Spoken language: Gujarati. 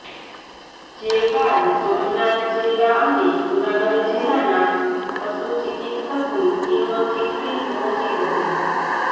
જે બાદ સોમનાથ જિલ્લા અને જૂનાગઢ જિલ્લાના પશુ ચિકિત્સકની ટીમો ચીખલી પહોંચી હતી